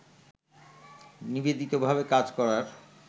নিবেদিতভাবে কাজ করার